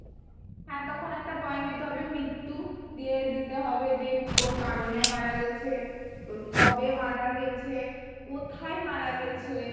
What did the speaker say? হ্যাঁ তখন একটা point দিতে হবে মৃত্যু, দিয়ে দিতে হবে যে কোন কারণে মারা গেছে, ওর কবে মারা গেছে? কোথায় মারা গেছে?